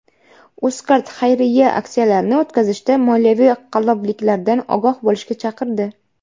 UzCard xayriya aksiyalarini o‘tkazishda moliyaviy qallobliklardan ogoh bo‘lishga chaqirdi.